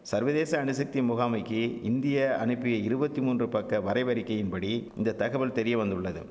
சர்வதேச அணுசக்தி முகாமைக்கி இந்திய அனிப்பிய இருவத்தி மூன்று பக்க வரைவறிக்கையின்படி இந்த தகவல் தெரியவந்துள்ளது